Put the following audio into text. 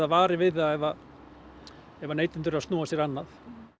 varir við það ef ef neytendur eru að snúa sér annað